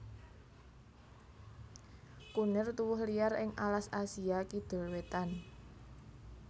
Kunir tuwuh liar ing alas Asia Kidul wétan